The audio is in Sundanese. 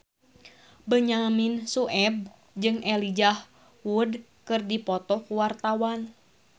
Benyamin Sueb jeung Elijah Wood keur dipoto ku wartawan